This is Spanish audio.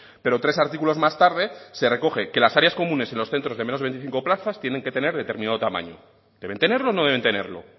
pero tres artículos más tarde se recoge que las áreas comunes en los centros de menos de veinticinco plazas tienen que tener determinado tamaño deben tenerlo o no deben tenerlo